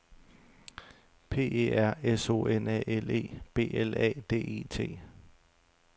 P E R S O N A L E B L A D E T